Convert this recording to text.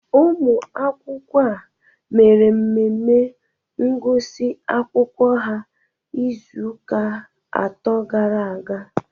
Ụmụ akwụkwọ a mere mmemme ngụsị akwụkwọ ha izuụka atọ gara aga